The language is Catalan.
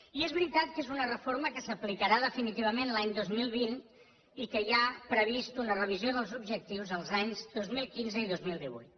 i és veritat que és una reforma que s’aplicarà definitivament l’any dos mil vint i que hi ha prevista una revisió dels objectius els anys dos mil quinze i dos mil divuit